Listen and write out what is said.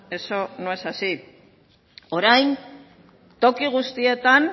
eso no es así orain toki guztietan